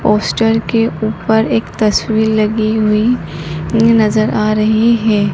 Poster के ऊपर एक तस्वीर लगी हुई नजर आ रही है।